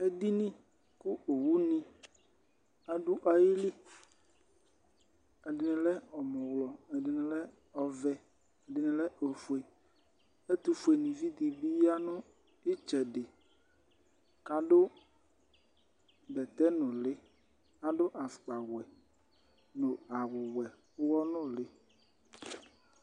Edinì ku owu ni adu ayili, ɛdi lɛ ɔmɔwlɔ, ɛdini lɛ ɔvɛ, ɛdini lɛ ofue, ɛtufue nivi dì bi ya nu itsɛdi k'adu bɛtɛ núlí, k'adu afukpa wɛ, dù awù wɛ uwɔ nùlí